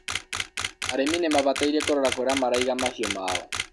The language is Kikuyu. arĩmi nimabataire kũrora kũrĩa maraiga mahiũ mao